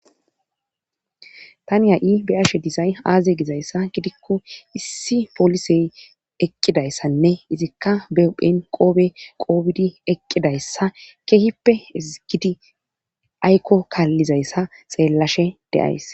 Tani ha7i beyashe dizay aaze gizayssa gidikko issi poolisey eqqidayssanne izikka be ophenqoobe qoobidi eqqidayssa kehippe ezgidi aykko kaallizayssa xeellashe de7ays.